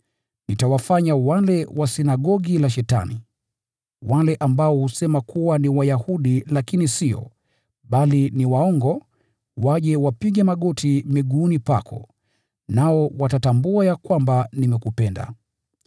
Nitawafanya wale wa sinagogi la Shetani, wale ambao husema kuwa ni Wayahudi lakini sio, bali ni waongo, nitawafanya waje wapige magoti miguuni pako, na wakiri ya kwamba nimekupenda.